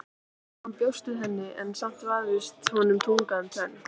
Hann bjóst við henni en samt vafðist honum tunga um tönn.